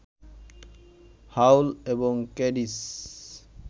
হাউল এবং ক্যাডিশ